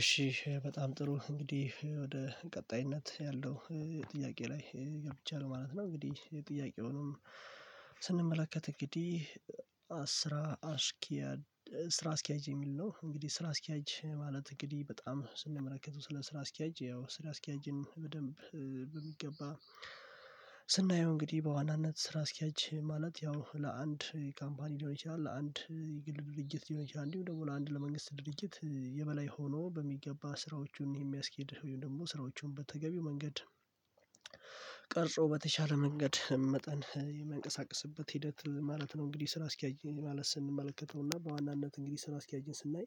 እሺ በጣም ጥሩ እንግዲህ ወደ ቀጣይነት ያለው ጥያቄ ላይ ገብቻለሁ ማለት ነው። እንግዲህ ጥያቄውንም ስንመለከት እንግዲህ አስራ አስኪያድ አስኪያጅ የሚል ነው። እንግዲህ ስራ አስኪያጅ ማለት እንግዲህ በጣም ስንመለከተው ስለ ስራ አስኪያጅ ያው ስራ አስኪያጅን በደንብ በሚገባ ስናየው እንግዲህ በዋናነት ስራ አስኪያጅ ማለት ያው ለአንድ ካምፓኒ ሊሆን ይችላል ለአንድ የግል ድርጅት ሊሆን ይችላል እንዲሁ ደግሞ ለአንድ ለመንግስት ድርጅት የበላይ ሆኖ በሚገባ ስራዎቹን የሚያስኬድ ወይም ደግሞ ስራዎቹን በተገቢው መንገድ ቀርጾው በተቻለ መንገድ የሚንቀሳቀስበት ሂደት ማለት ነው። እንግዲህ ስራ አስኪያጅ ማለት ስንመለከተውና በዋናነት እንግዲህ ስራ አስኪያጅን ስናይ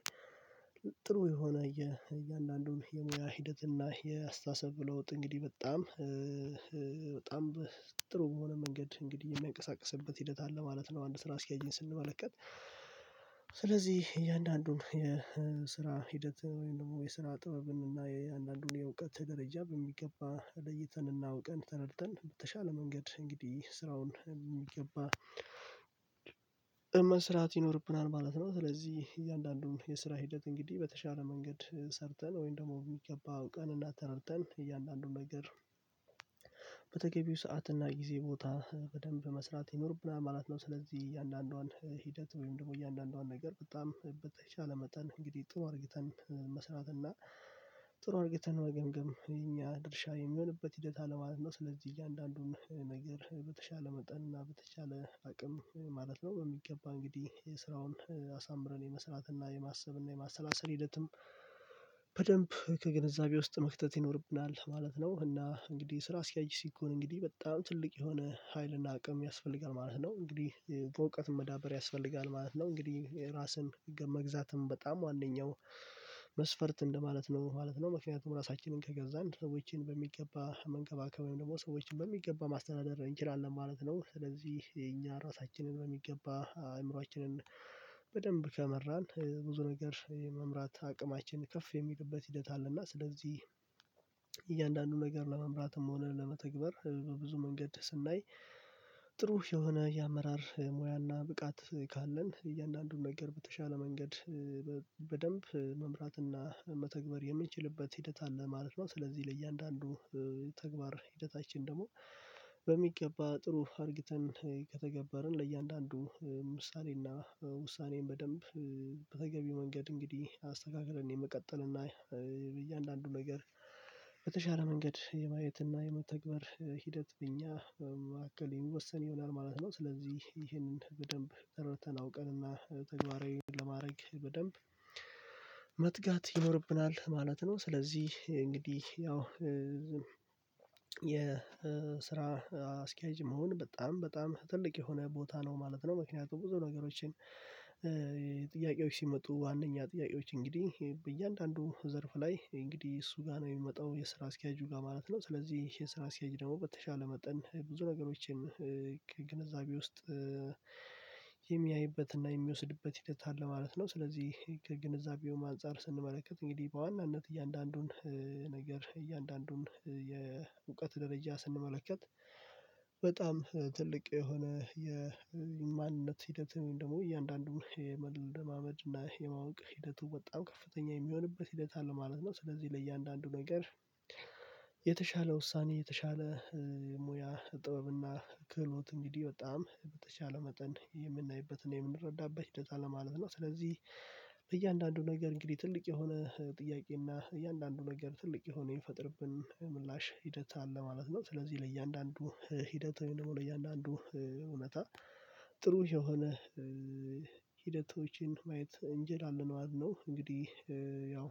ጥሩ የሆነ የእያንዳንዱን የሙያ ሂደት እና የአስተሳሰብ ለዉጥ እንግዲህ በጣም በጣም በጥሩ በሆነ መንገድ እንግዲህ የሚያንቀሳቅስበት ሂደት አለ ማለት ነው። አንድ ስራ አስኪያጅን ስንመለከት ስለዚህ እያንዳንዱን የስራ ሂደት ወይም ደግሞ የስራ ጥበብን እና የእያንዳንዱን የእውቀት ደረጃ በሚገባ ለይተን እና አውቀን ተረድተን በተሻለ መንገድ እንግዲህ ስራውን የሚገባ መስራት ይኖርብናል ማለት ነው። ስለዚህ እያንዳንዱን የስራ ሂደት እንግዲህ በተሻለ መንገድ ሰርተን ወይም ደግሞ የሚገባ አዉቀንና ተረድተን እያንዳንዱን ነገር በተገቢው ሰዓት እና ጊዜ ቦታ በደንብ መስራት ይኖርብናል ማለት ነው። ስለዚህ እያንዳንዷን ሂደት ወይም ደግሞ እያንዳንዷን ነገር በጣም በተቻለ መጠን እንግዲህ ጥሩ አርግታን መስራት እና ጥሩ አርግታን መገምገም የእኛ ድርሻ የሚሆንበት ሂደት አለ ማለት ነው። ስለዚህ እያንዳንዱን ነገር በተሻለ መጠን እና በተቻለ አቅም ማለት ነው በሚገባ እንግዲህ የስራውን አሳምረን የመስራትና የማሰብና የማሰላሰል ሂደትም በደንብ ከግንዛቤ ውስጥ መክተት ይኖርብናል ማለት ነው። እና እንግዲህ ስራ አስኪያጅ ሲኮን እንግዲህ በጣም ትልቅ የሆነ ሀይልና አቅም ያስፈልጋል ማለት ነው እንግዲህ በእውቀት መዳበር ያስፈልጋል ማለት ነው። እንግዲህ ራስን መግዛትም በጣም ዋነኛው መስፈርት እንደማለት ነው ማለት ነው። ምክንያቱም ራሳችንን ከገዛን ሰዎችን በሚገባ መንከባከብ ወይም ደግሞ ሰዎችን የሚገባ ማስተናደድ እንችላለን ማለት ነው። ስለዚህ የኛ ራሳችንን በሚገባ አእምሮአችንን በደንብ ከመራን ብዙ ነገር የመምራት አቅማችን ከፍ የሚልበት ሂደት አለና ስለዚህ እያንዳንዱ ነገር ለመምራትም ሆነ ለመተግበር ብዙ በብዙ መንገድ ስናይ ጥሩ የሆነ የአመራር ሙያና ብቃት ካለን እያንዳንዱን ነገር በተሻለ መንገድ በደንብ መምራትና መተግበር የምንችልበት ሂደት አለ ማለት ነው። ስለዚህ ለእያንዳንዱ ተግባር ሂደታችን ደግሞ በሚገባ ጥሩ አርግተን ከተገበርን ለእያንዳንዱ ምሳሌና ውሳኔን በደንብ በተገቢ መንገድ እንግዲህ አስተካክለን የመቀጠል እና በእያንዳንዱ ነገር በተሻለ መንገድ የማየት እና የመተግበር ሂደት በእኛ መካከል ይወሰን ይሆናል ማለት ነው። ስለዚህ ይህንን በደንብ ተረድተን አውቀንና ተግባራዊ ለማድረግ በደንብ መትጋት ይኖርብናል ማለት ነው። ስለዚህ እንግዲህ ያው የስራ አስኪያጅ መሆን በጣም በጣም ትልቅ የሆነ ቦታ ነው ማለት ነው። ምክንያቱም ብዙ ነገሮችን ጥያቄዎች ሲመጡ ዋናኛ ጥያቄዎች እንግዲህ በእያንዳንዱ ዘርፍ ላይ እንግዲህ እሱ ጋር ነው የሚመጣው የስራ አስኪያጁ ጋር ማለት ነው። ስለዚህ ይሄ የስራ አስኪያጅ ደግሞ በተሻለ መጠን ብዙ ነገሮችን ግንዛቤ ውስጥ የሚያይበትና የሚወስድበት ሂደት አለ ማለት ነው። ስለዚህ ግንዛቤው አንፀር ስንመለከት እንግዲህ በዋናነት እያንዳንዱን ነገር እያንዳንዱን የእውቀት ደረጃ ስንመለከት በጣም ትልቅ የሆነ የማንነት ሂደት ወይም ደግሞ እያንዳንዱን የመለማመድ እና የማወቅ ሂደቱ በጣም ከፍተኛ የሚሆንበት ሂደት አለ ማለት ነው። ስለዚህ ለእያንዳንዱ ነገር የተሻለ ውሳኔ የተሻለ ሙያ ጥበብና ክህሎት እንግዲህ በጣም በተቻለ መጠን የምናይበትና የምንረዳበት ሂደት አለ ማለት ነው። ስለዚህ በእያንዳንዱ ነገር እንግዲህ ትልቅ የሆነ ጥያቄና እያንዳንዱ ነገር ትልቅ የሆነ የሚፈጥርብን ምላሽ ሂደት አለ ማለት ነው። ስለዚህ ለእያንዳንዱ ሂደት ወይም ደግሞ ለእያንዳንዱ እውነታ ጥሩ የሆነ ሂደቶችን ማየት እንችላለን ማለት እንግዲህ ያው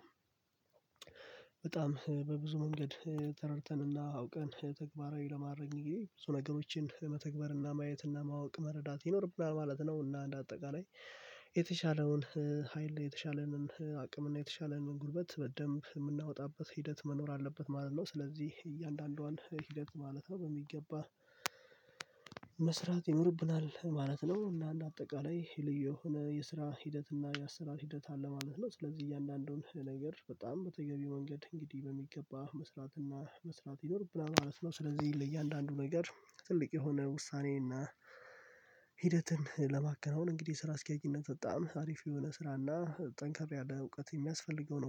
በጣም በብዙ መንገድ ተረድተንና አውቀን ተግባራዊ ለማረግ እንግዲህ ብዙ ነገሮችን መተግበርና ማየትና ማወቅ መረዳት ይኖርብናል ማለት ነው። እና እንደ አጠቃላይ የተሻለውን ሀይል የተሻለንን አቅምና የተሻለንን ጉልበት በደንብ የምናወጣበት ሂደት መኖር አለበት ማለት ነው። ስለዚህ እያንዳንዷን ሂደት ማለት ነው በሚገባ መስራት ይኖርብናል ማለት ነው። እና አንደ አጠቃላይ ልዩ የሆነ የስራ ሂደት እና የአስራ ሂደት አለ ማለት ነው። ስለዚህ እያንዳንዱን ነገር በጣም በተገቢው ወንገድ እንግዲህ በሚገባ መስራት እና መስራት ይኖርብናል ማለት ነው። ስለዚህ ለእያንዳንዱ ነገር ትልቅ የሆነ ውሳኔ እና ሂደትን ለማከናወን እንግዲህ ስራ አስኪያጅነት በጣም አሪፍ የሆነ ስራና ጠንካራ ያለ እውቀት የሚያስፈልገው ነው